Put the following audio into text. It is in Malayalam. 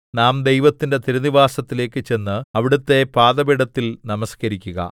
നാം ദൈവത്തിന്റെ തിരുനിവാസത്തിലേക്കു ചെന്ന് അവിടുത്തെ പാദപീഠത്തിൽ നമസ്കരിക്കുക